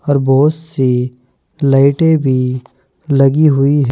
और बहोत सी लाइटें भी लगी हुई हैं।